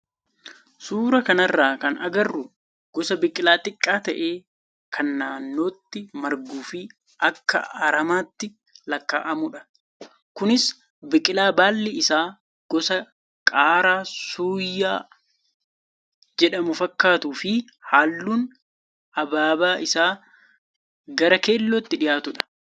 Suuraa kanarraa kan agarru gosa biqilaa xiqqaa ta'ee kan naannootti marguu fi akka aramaatti lakkaa'amudha. Kunis Biqilaa baalli isaa gosa qaaraa suuyyaa jedhamu fakkaatuu fi halluun ababaa isaa gar keellootti dhiyaatudha.